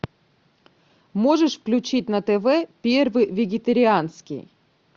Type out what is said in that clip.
можешь включить на тв первый вегетарианский